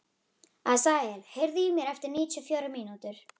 Asael, heyrðu í mér eftir níutíu og fjórar mínútur.